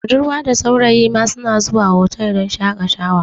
Budarwa da saurayi ma na zuwa hotal don shakatawa